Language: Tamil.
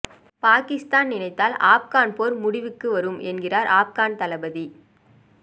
பாகிஸ்தான் நினைத்தால் ஆப்கான் போர் முடிவுக்கு வரும் என்கிறார் ஆப்கன் தளபதி